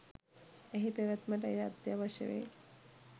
එහි පැවැත්මට එය අත්‍යවශ්‍ය වේ